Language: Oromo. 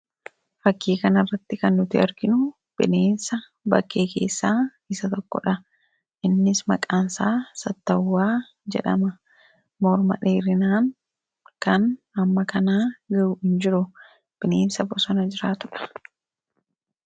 Fakkii kana irratti kan nuti arginu bineensa bakkee keessaa isa tokko dha. Innis maqaan isaa Sattawwaa jedhama. Morma dheerinaan kan hamma kanaa ga'u hin jiru. Bineensa bosona jiraatu dha.